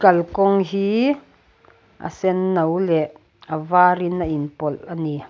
kalkawng hii a senno leh a var in a inpawlh a ni.